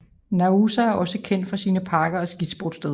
Naousa er også kendt for sine parker og skisportssteder